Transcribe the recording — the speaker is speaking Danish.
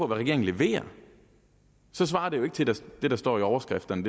regeringen leverer svarer det jo ikke til det der står i overskrifterne